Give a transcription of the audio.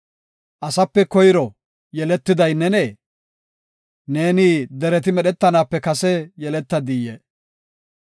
“Asape koyro yeletiday nenee? Neeni dereti medhetanaape kase yeletadii?